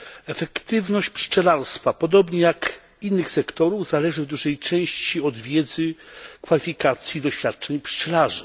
Efektywność pszczelarstwa podobnie jak innych sektorów zależy w dużej części od wiedzy, kwalifikacji, doświadczeń pszczelarzy.